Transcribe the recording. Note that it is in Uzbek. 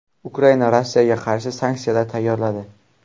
Ukraina Rossiyaga qarshi sanksiyalar tayyorladi.